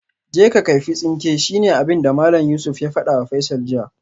Je ka kaifi tsinke shine abinda Malam Yusuf ya fadawa Faisal jiya